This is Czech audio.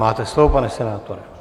Máte slovo, pane senátore.